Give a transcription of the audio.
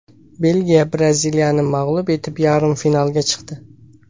Belgiya Braziliyani mag‘lub etib, yarim finalga chiqdi.